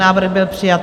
Návrh byl přijat.